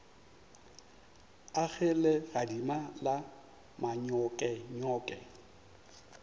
a ge legadima la manyokenyoke